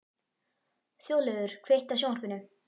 Þjóðleifur, kveiktu á sjónvarpinu.